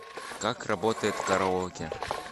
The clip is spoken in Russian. как работает караоке